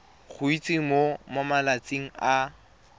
go itsise mo malatsing a